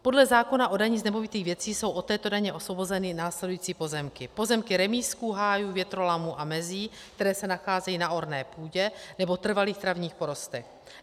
Podle zákona o dani z nemovitých věcí jsou od této daně osvobozeny následující pozemky: pozemky remízků, hájů, větrolamů a mezí, které se nacházejí na orné půdě nebo trvalých travních porostech.